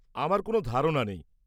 আমার কোনও ধারনা নেই।